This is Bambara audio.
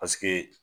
Paseke